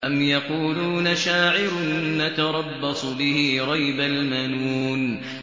أَمْ يَقُولُونَ شَاعِرٌ نَّتَرَبَّصُ بِهِ رَيْبَ الْمَنُونِ